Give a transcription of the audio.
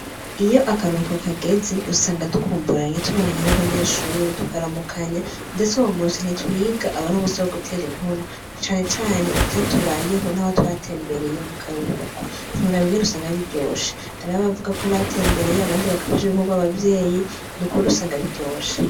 Iyo akaruhuko kageze usanga dukumburanye tubonanya n'abanyeshure tukaramukanya ndese uwo musi ntitwiga aba ari umusi wo gutera inkuru canecane ituyatubayeho n'awa twatembereye mu karuhuko nturaba inwen usanga biryosha arabavuga ko batembereye abandi bakafasha ibikorwa abavyeyi ni ukubri usanga biryosha.